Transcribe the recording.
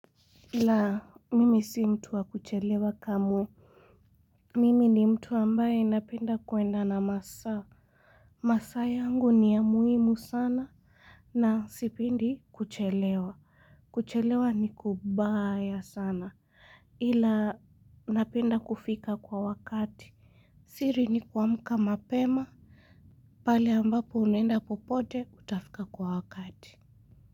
La, mimi si mtu wa kuchelewa kamwe. Mimi ni mtu ambaye napenda kuenda na masaa. Masaa yangu ni ya muhimu sana na sipendi kuchelewa. Kuchelewa ni kubaya sana ila napenda kufika kwa wakati. Siri ni kuamka mapema. Pale ambapo unaenda popote utafika kwa wakati.